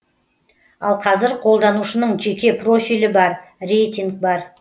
ал қазір қолданушының жеке профилі бар рейтинг бар